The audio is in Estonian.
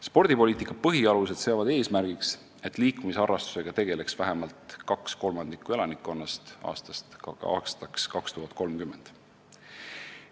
Spordipoliitika põhialused seavad eesmärgi, et aastaks 2030 tegeleks liikumisharrastusega vähemalt 2/3 elanikkonnast.